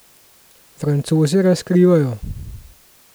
Francozi razkrivajo ...